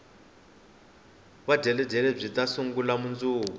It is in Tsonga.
vudyeledyele byita sungula mundzuku